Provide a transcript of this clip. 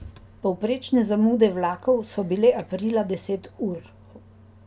Povprečne zamude vlakov so bile aprila deset ur.